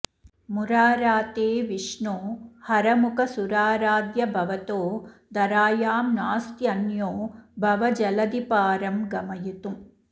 मुराराते विष्णो हरमुखसुराराध्य भवतो धरायां नास्त्यन्यो भवजलधिपारं गमयितुम्